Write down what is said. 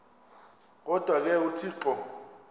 kodwa ke uthixo